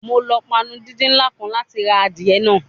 Mo lo panu didin nla kan lati ra adie naa